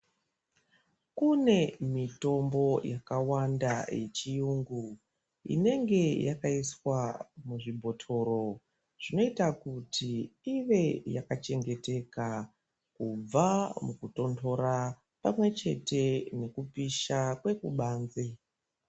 Kune mitombo yakawanda yechiyungu inenge yakaiswa muzvibhotoro zvinoita kuti ive yakachengeteka kubva mukutondora pamwe chete nekupisha kwekubanze.